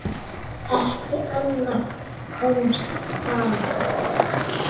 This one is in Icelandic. Ekkert annað komst að.